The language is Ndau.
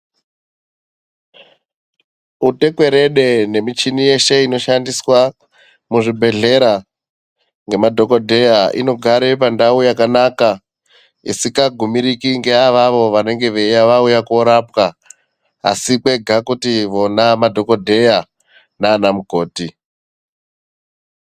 Utekwerede nemichini yeshe inoshandiswa muzvibhedhlera ngemadhokodheya inogare pandau yakanaka, isikagumiriki ngeavavo vanenge vauya koorapwa asi kwega kuti vona madhokodheya nana mukoti.